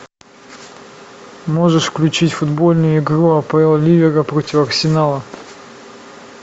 можешь включить футбольную игру апл ливера против арсенала